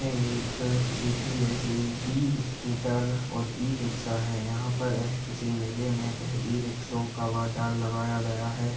एक J P e -scooter और e-rickshaw है यहाँ पर एह किसी मेले में एह इ-रिक्शाओ का बाजार लगाया गया है।